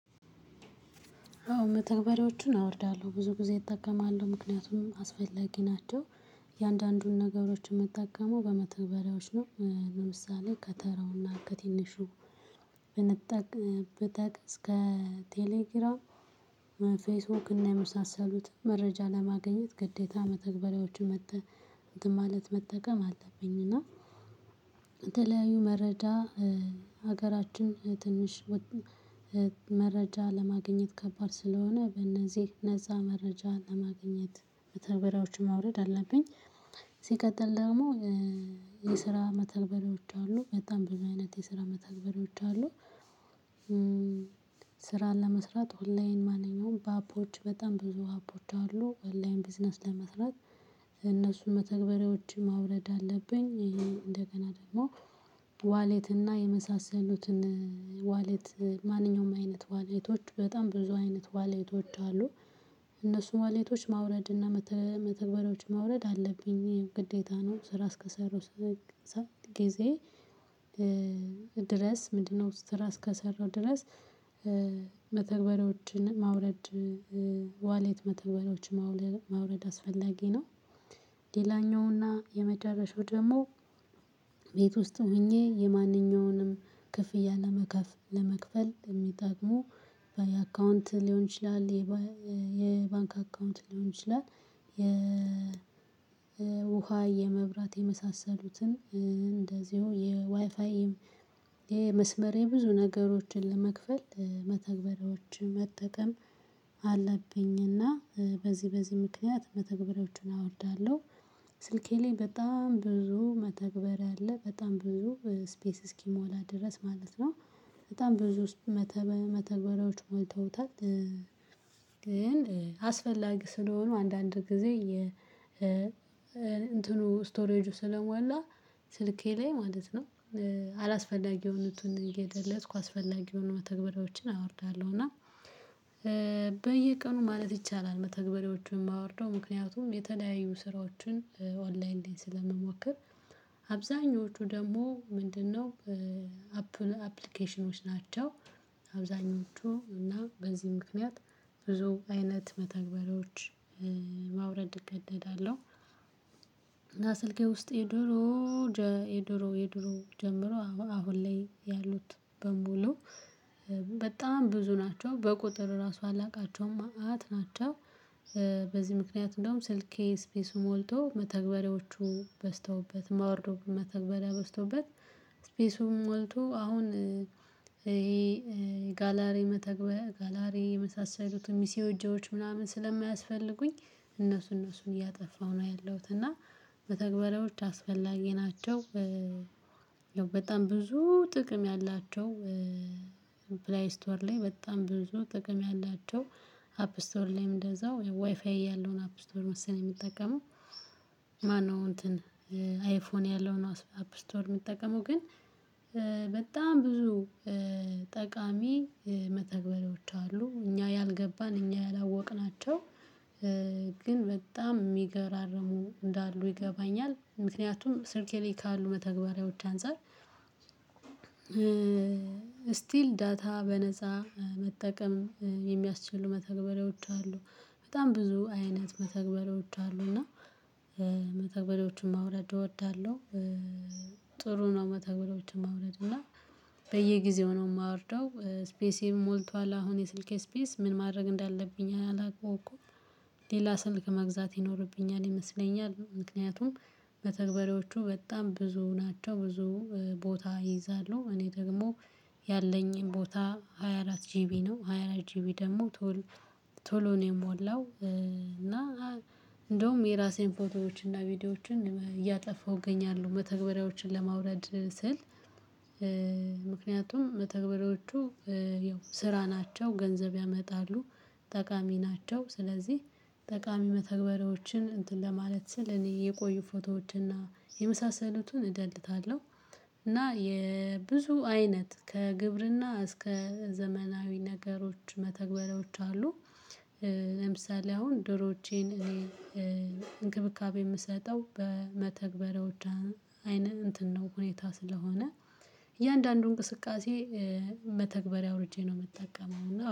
አዎ መተግበሬዎችን አወርዳለሁ ብዙ ጊዜ እጠቀማለሁ ምክንያቱም አስፈላጊ ናቸው። እያንዳንዱን ነገሮች የምትጠቀመው በመተበሪያዎች ነው ለምሳሌ ከተራውና ከትንሹ ብጠቅስ እስከ ቴሌግራም ፌስቡክ እና የመሳሰሉትን መረጃ ለማግኘት ግዴታ መተግበሪያዎቹ መጥተህ እንትን ማለት መጠቀም አለብኝ። እና መረጃ ሀገራችን ትንሽ መረጃ ለማግኘት ከባድ ስለሆነ በእነዚህ እነዛ መረጃ ለማግኘት መተግበራዎችን ማውረድ አለብኝ ሲቀጥል ደግሞ የስራ መተግበሪዎች አሉ በጣም ብዙ አይነት የስራ መተግበሪዎች አሉ። ስራን ለመስራት ኦንላይን ማንኛውም በአፖች በጣም ብዙ አፖች አሉ አላይን ቢዝነስ ለመስራት እነሱን መተግበሪያዎችን ማውረድ አለብኝ። ይሄን እንደገና ደግሞ ዋሌት እና የመሳሰሉትን ዋሌት ማንኛውም አይነት ዋሌቶች በጣም ብዙ አይነት ዋሌቶች አሉ። እነሱን ዋሌቶች ማውረድ እና መተግበሪያዎች ማውረድ አለብኝ ግዴታ ነው። ስራ እስከሰራው ጊዜ ድረስ ምንድነው? ስራ እስከሰራው ድረስ መተግበሪያዎችን ማውረድ ዋሌት መተግበሪያዎችን ማውረድ አስፈላጊ ነው። ሌላኛውና የመዳረሻው ደግሞ ቤት ውስጥ ሆኜ የማንኛውንም ክፍያ ለመክፈል ለመክፈል የሚጠቅሙ አካውንት ሊሆን ይችላል። የባንክ አካውንት ሊሆን ይችላል። የውሃ የመብራት የመሳሰሉትን እንደዚሁ የዋይፋይ የመስመር የብዙ ነገሮችን ለመክፈል መተግበሬዎችን መጠቀም አለብኝና በዚህ በዚህ ምክንያት መተግበሪያዎችን አወርዳለሁ። ስልኬ ላይ በጣም ብዙ መተግበር አለ በጣም ብዙ ስፔስ እስኪሞላ ድረስ ማለት ነው። በጣም ብዙ መተግበሪያዎች ሞልተውታል። ግን አስፈላጊ ስለሆኑ አንዳንድ ጊዜ የ ስቶሬጁ ስለሞላ ስልኬ ላይ ማለት ነው። አላስፈላጊ የሆኑትን እየደለትኩ አስፈላጊ የሆኑ መተግበሪያዎችን አወርዳለሁ። እና በየቀኑ ማለት ይቻላል መተግበሪያዎቹን የማወርደው ምክንያቱም የተለያዩ ስራዎችን ኦንላይን ላይ ስለምሞክር። አብዛኞቹ ደግሞ ምንድነው አፕሊኬሽኖች ናቸው። አብዛኞቹ እና በዚህ ምክንያት ብዙ አይነት መተግበሪያዎች ማውረድ እገደዳለሁ። እና ስልክ ውስጥ የድሮ የድሮ የድሮ ጀምሮ አሁን ላይ ያሉት በሙሉ በጣም ብዙ ናቸው በቁጥር ራሱ አላውቃቸውም መአት ናቸው። በዚህ ምክንያት እንደውም ስልኬ ስፔሱን ሞልቶ መተግበሪያዎቹ በዝተውበት ማውርዶ መተግበሪያ በዝተውበት። ስፔሱም ሞልቶ አሁን ይሄ ጋላሬ መተግበር ጋላሪ የመሳሰሉት ሚሲዮጆች ምናምን ስለማያስፈልጉኝ እነሱ እነሱን እያጠፋሁ ነው ያለሁት እና መተግበራዎች አስፈላጊ ናቸው። በጣም ብዙ ጥቅም ያላቸው ፕላይ ስቶር ላይ በጣም ብዙ ጥቅም ያላቸው አፕ ስቶር ላይም እንደዛው ዋይፋይ ያለውን አፕ ስቶር መሰለኝ የሚጠቀመው። ማነው? እንትን አይፎን ያለውን አፕ ስቶር የሚጠቀመው ግን በጣም ብዙ ጠቃሚ መተግበሪዎች አሉ እኛ ያልገባን እኛ ያላወቅናቸው ግን በጣም የሚገራርሙ እንዳሉ ይገባኛል። ምክንያቱም ስልኬ ላይ ካሉ መተግበሪያዎች አንፃር ስቲል ዳታ በነፃ መጠቀም የሚያስችሉ መተግበሪያዎች አሉ። በጣም ብዙ አይነት መተግበሎች አሉና መተግበሪያዎችን ማውረድ እወዳለሁ። ጥሩ ነው መተግበሪያዎችን ማውረድ እና በየጊዜው ነው የማወርደው ስፔሴን ሞልቷል አሁን የስልኬ ስፔስ ምን ማድረግ እንዳለብኝ አላውኩም። ሌላ ስልክ መግዛት ይኖርብኛል ይመስለኛል። ምክንያቱም መተግበሪያዎቹ በጣም ብዙ ናቸው። ብዙ ቦታ ይይዛሉ እኔ ደግሞ ያለኝን ቦታ ሃያ አራት ጂቢ ነው። ሃያ አራት ጂቢ ደግሞ ቶሎ ቶሎ ነው የሞላው። እና እንደውም የራሴን ፎቶዎችን እና ቪዲዮዎችን እያጠፋሁ እገኛለሁ መተግበሪያዎችን ለማውረድ ስል ምክንያቱም መተግበሪያዎቹ የው ስራ ናቸው ገንዘብ ያመጣሉ። ጠቃሚ ናቸው ስለዚህ ጠቃሚ መተግበሪያዎችን እንትን ለማለት ስል እኔ የቆዩ ፎቶዎችንና የመሳሰሉቱን እደልታለሁ። እና የብዙ አይነት ከግብርና እስከ ዘመናዊ ነገሮች መተግበሪያዎች አሉ። ለምሳሌ አሁን ዶሮዎቼን እኔ እንክብካቤ የምሰጠው በመተግበር አይነት እንትን ነው። ሁኔታ ስለሆነ እያንዳንዱን እንቅስቃሴ መተግበሪያ አውርጄ ነው የምጠቀመው እና